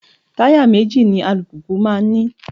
Taya méjì ni alùpùpù máa ń ní.